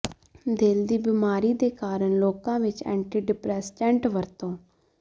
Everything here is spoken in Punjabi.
ਦਿਲ ਦੀ ਬਿਮਾਰੀ ਦੇ ਕਾਰਨ ਲੋਕਾਂ ਵਿੱਚ ਏਂਟੀ ਡਿਪਰੇਸੈਂਟੈਂਟ ਵਰਤੋਂ